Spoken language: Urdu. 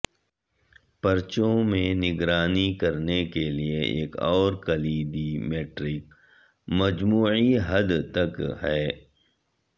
پرچون میں نگرانی کرنے کے لئے ایک اور کلیدی میٹرک مجموعی حد تک ہے